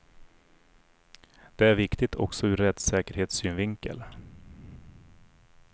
Det är viktigt också ur rättssäkerhetssynvinkel.